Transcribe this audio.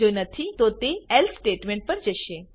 જો નથી તો તે એલ્સે સ્ટેટમેંટપર જશે